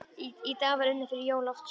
Í dag var unnið fyrir Jón Loftsson.